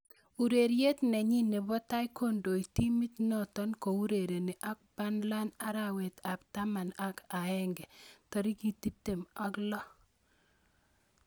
Ureriet nenyin nebo tai kondoi timit noto kourereni ak Burnley arawet ab taman ak aeng 26.